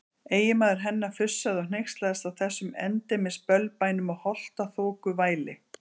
Eiginmaður hennar fussaði og hneykslaðist á þessum endemis bölbænum og holtaþokuvæli.